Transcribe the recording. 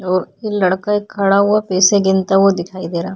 ओर ये एक लड़का खड़ा हुआ पेसे गिनता हुआ दिखाई दे रा --